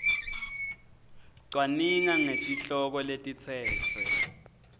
cwaninga ngetihloko letitsetfwe